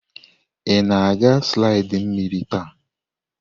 Ị na-aga slidi mmiri taa?